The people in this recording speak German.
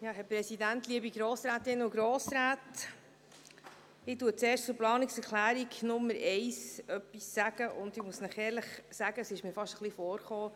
Ich sage zuerst etwas zu Planungserklärung 1, und ich muss Ihnen ehrlich sagen, dass es mir vorgekommen ist, als